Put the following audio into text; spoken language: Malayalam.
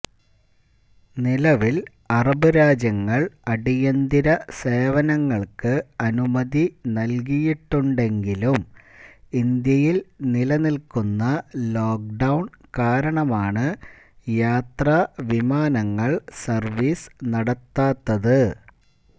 നിലവിൽ അറബ് രാജ്യങ്ങൾ അടിയന്തര സേവനങ്ങൾക്ക് അനുമതി നൽകിയിട്ടുണ്ടെങ്കിലും ഇന്ത്യയിൽ നിലനിൽക്കുന്ന ലോക്ഡൌൺ കാരണമാണ് യാത്രാ വിമാനങ്ങൾ സർവ്വീസ് നടത്താത്തത്